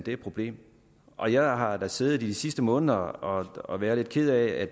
et problem og jeg har har siddet i de sidste måneder og og været lidt ked af at